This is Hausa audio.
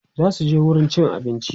zasuje wurin cin abinci